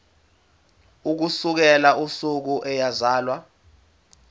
ukusukela usuku eyazalwa